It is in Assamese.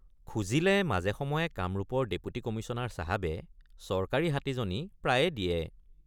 খুজিলে মাজেসময়ে কামৰূপৰ ডেপুটি কমিশ্যনাৰ চাহাবে চৰকাৰী হাতীজনী প্ৰায়ে দিয়ে।